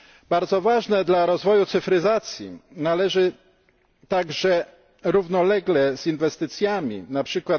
Bardzo ważne dla rozwoju cyfryzacji należy także równolegle z inwestycjami, np.